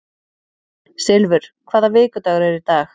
Silfur, hvaða vikudagur er í dag?